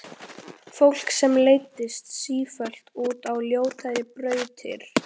Fólki sem leiddist sífellt út á ljótari brautir.